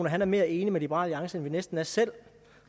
at han er mere enig med liberal alliance end vi næsten er selv